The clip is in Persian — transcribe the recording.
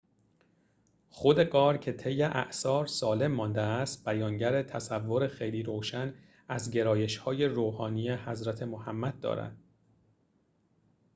خود غار که طی اعصار سالم مانده است بیانگر تصور خیلی روشن از گرایش‌های روحانی حضرت محمد دارد